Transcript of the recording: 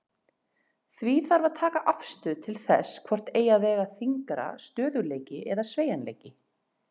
Því þarf að taka afstöðu til þess hvort eigi að vega þyngra, stöðugleiki eða sveigjanleiki.